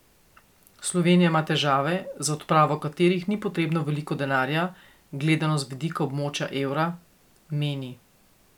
Slovenija ima težave, za odpravo katerih ni potrebno veliko denarja, gledano z vidika območja evra, meni.